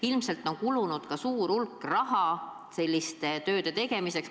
Ilmselt on kulunud ka suur hulk raha selliste tööde tegemiseks.